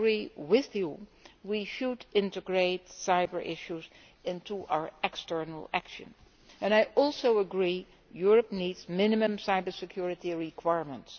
I agree with you that we should integrate cyber issues into our external action and I also agree that Europe needs minimum cybersecurity requirements.